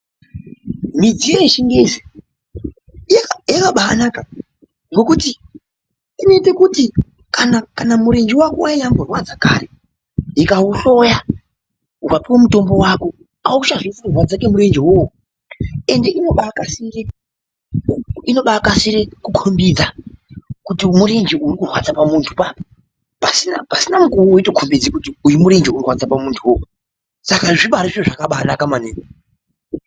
Michini yechingezi yakabanaka ngokuti inoite kuti kana mirenje wako wainyamborwadza kare ikauhloya ukapiwe mutombo wako auchanzwi ukurwadza kwemurenje uwowo ende inobakasire , inobakasire kukhombidza kuti uyu murenje uri kurwadza apapo ,pasina mukuwo wotokombidze kuti uyu murenje ukurwadza pamunhu po apapo ende zvakabaa naka maningi.